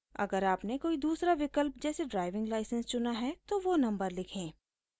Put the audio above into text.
अगर आपने कोई दूसरा विकल्प जैसे ड्राइविंग लाइसेंस चुना है तो वो नम्बर लिखें